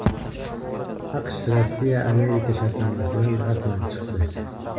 AQSh RossiyaAmerika shartnomasidan rasman chiqdi.